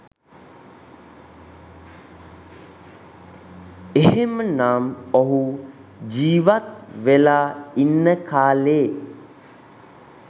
එහෙම නම් ඔහු ජීවත් වෙලා ඉන්න කාලේ